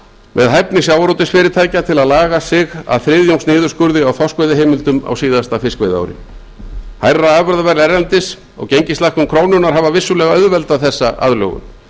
með hæfni sjávarútvegsfyrirtækja til að laga sig að þriðjungs niðurskurði á þorskveiðiheimildum á síðasta fiskveiðiári hærra afurðaverð erlendis og gengislækkun krónunnar hafa vissulega auðveldað þessa aðlögun